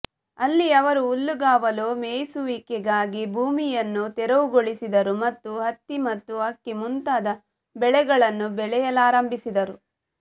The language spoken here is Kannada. ಅಲ್ಲಿ ಅವರು ಹುಲ್ಲುಗಾವಲು ಮೇಯಿಸುವಿಕೆಗಾಗಿ ಭೂಮಿಯನ್ನು ತೆರವುಗೊಳಿಸಿದರು ಮತ್ತು ಹತ್ತಿ ಮತ್ತು ಅಕ್ಕಿ ಮುಂತಾದ ಬೆಳೆಗಳನ್ನು ಬೆಳೆಯಲಾರಂಭಿಸಿದರು